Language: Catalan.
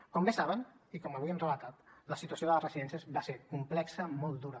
com bé saben i com avui hem relatat la situació de les residències va ser complexa i molt dura